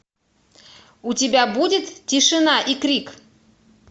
у тебя будет тишина и крик